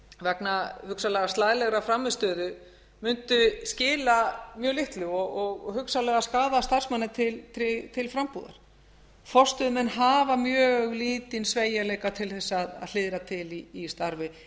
vegna hugsanlega slælegrar frammistöðu mundi skila mjög litlu og hugsanlega skaða starfsmanninn til frambúðar forstöðumenn hafa mjög lítinn sveigjanleika til þess að hliðra til í starfi